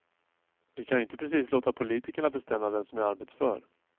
Vi kan ju inte precis låta politikerna bestämma vem som är arbetsför.